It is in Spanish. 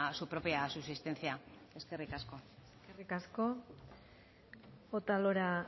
su propia subsistencia eskerrik asko eskerrik asko otalora